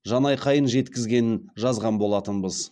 жанайқайын жеткізгенін жазған болатынбыз